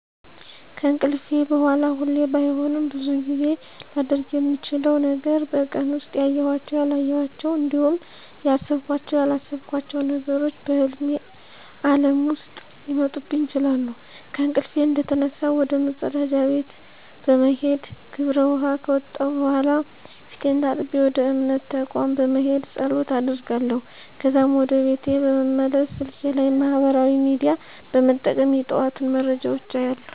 ከእንቅልፌ በሗላ ሁሌ ባይሆንም ብዙውን ጊዜ ላደርግ ምችለው ነገር በቀን ውስጥ ያዬኋቸው፣ ያላየኋቸው እንዲሁም ያሰብኳቸው፣ ያላሰብኳቸው ነገሮች በህልሜ ዓለም ውስጥ ሊመጡብኝ ይችላሉ። ከእንቅልፌ እንደተነሳሁ ወደ መፀዳጃ ቤት በመሄድ ግብር ውኃ ከወጣሁ በኃላ ፊቴን ታጥቤ ወደ እምነት ተቋም በመሄድ ፀሎት አደርጋለሁ። ከዛም ወደ ቤት በመመለስ ስልኬ ላይ ማህበራዊ ሚዲያ በመጠቀም የጠዋቱን መረጃዎች አያለሁ።